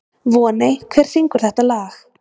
Voney, hver syngur þetta lag?